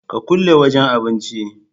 Ka kulle wajan abincin